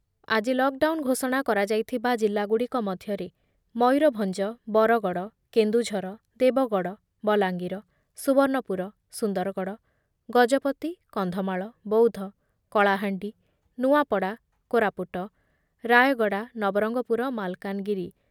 ଆଜି lockdown ଘୋଷଣା କରା ଯାଇଥିବା ଜିଲ୍ଲା ଗୁଡିକ ମଧ୍ୟରେ ମୟୁରଭଞ୍ଜ, ବରଗଡ, କେନ୍ଦୁଝର, ଦେବଗଡ, ବଲାଙ୍ଗୀର, ସୁବର୍ଣ୍ଣପୁର, ସୁନ୍ଦରଗଡ, ଗଜପତି, କନ୍ଧମାଳ, ବୌଦ୍ଧ, କଲାହାଣ୍ଡି, ନୂଆପଡା, କୋରାପୁଟ, ରାୟଗଡା, ନବରଙ୍ଗପୁର, ମାଲକାନଗିରି